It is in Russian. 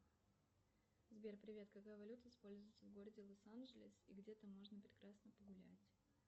сбер привет какая валюта используется в городе лос анджелес и где там можно прекрасно погулять